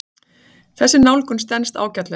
Þessi nálgun stenst ágætlega.